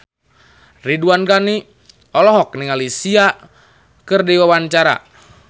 Ridwan Ghani olohok ningali Sia keur diwawancara